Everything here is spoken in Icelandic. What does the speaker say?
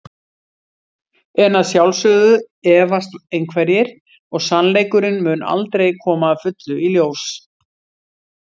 En að sjálfsögðu efast einhverjir og sannleikurinn mun aldrei koma að fullu í ljós.